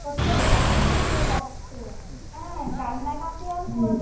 ও তো হেসেই মরে যাচ্ছে, হ্যাঁ। কান্নাকাটি আর করবে,